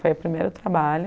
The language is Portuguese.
Foi o primeiro trabalho.